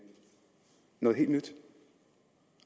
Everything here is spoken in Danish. noget helt nyt